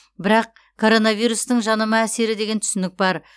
бірақ коронавирустың жанама әсері деген түсінік бар